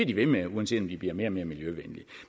de ved med uanset om de bliver mere og mere miljøvenlige